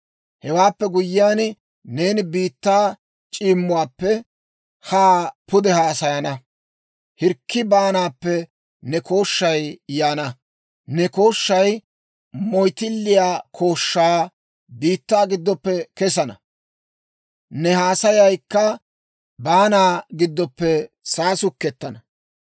Hewaappe guyyiyaan, neeni biittaa c'iimmuwaappe haa pude haasayana; hirkki baanaappe ne kooshshay yaana. Ne kooshshay moyttilliyaa kooshshaa, biittaa giddoppe kesana; ne haasayaykka baanaa giddoppe saasukettana.